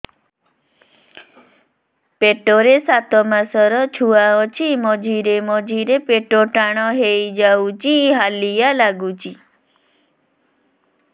ପେଟ ରେ ସାତମାସର ଛୁଆ ଅଛି ମଝିରେ ମଝିରେ ପେଟ ଟାଣ ହେଇଯାଉଚି ହାଲିଆ ଲାଗୁଚି